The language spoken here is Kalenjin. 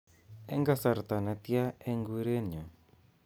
Eng kasarta netia eng kuret nyu